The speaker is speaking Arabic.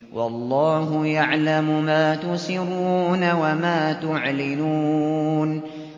وَاللَّهُ يَعْلَمُ مَا تُسِرُّونَ وَمَا تُعْلِنُونَ